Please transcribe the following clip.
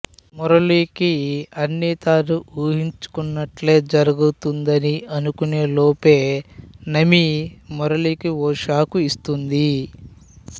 మురళికి అన్ని తాను ఉహించుకున్నట్టే జరుగుతుందని అనుకునేలోపే నమీ మురళికి ఓ షాక్ ఇస్తుంది